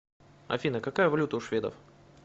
афина какая валюта у шведов